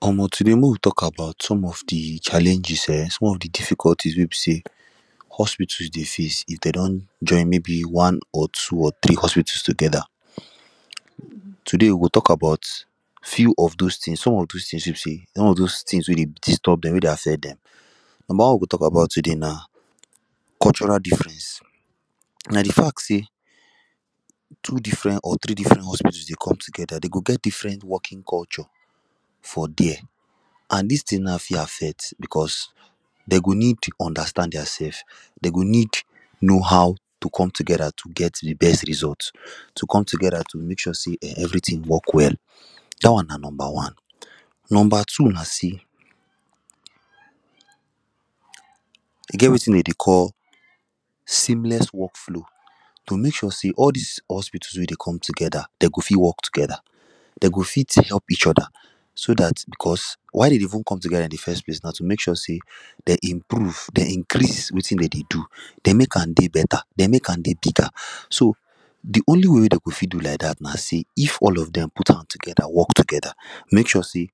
Omo today make we talk about some of the challenges um some of the difficulties wey be say hospitals dey face if dem don join maybe one or two or three hospitals together today we go talk about few of those things. Some of those things wey be say some of those things wey dey disturb them wey dey affect them Number one we go talk about today na cultural difference na the fact say two different or three different hospitals dey come together dey go get different working culture for there and this thing na fit affect because dem go need to understand their sef dem go need know how to come together to get the best results to come together to make sure say everything work well that one na number one. Number two na say e get wetin we dey call seamless work flow; to make sure say all this hospitals wey dey come together dem go fit work together dem go fit to help each other so that because why dem dey even come together in the first place na to make sure say they improve they increase wetin dem dey do they make am dey better they make am dey bigger so the only way wey dem go fit do like that na say if all of them put hand together work together make sure say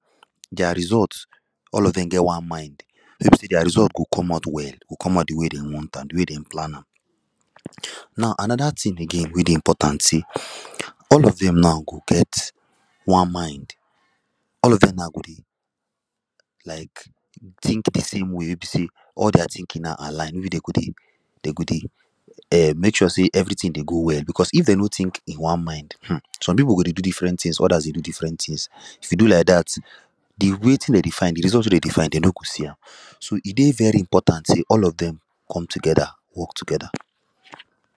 their result all of them get one mind wey be say their result go come out well go come out the way dem want am the way dem plan am. Now another thing again wey dey important be say all of them now go get one mind all of dem now go dey like think the same way wey be say all their thinking na align wey dem go dey um make sure say everything dey go well because if dem no think in one mind um some people go dey do different things others go dey do different things if you do like that wetin dem dey find the result wey dem dey find dem no go see am so e dey very important say all of them come together work together.